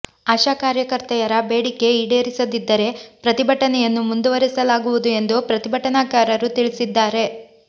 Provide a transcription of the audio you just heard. ಆಶಾ ಕಾರ್ಯಕರ್ತೆಯರ ಬೇಡಿಕೆ ಈಡೇರಿಸದಿದ್ದರೆ ಪ್ರತಿಭಟನೆಯನ್ನು ಮುಂದುವರಿಸಲಾಗುವುದು ಎಂದು ಪ್ರತಿಭಟನಾಕಾರರು ತಿಳಿಸಿದ್ದಾರೆ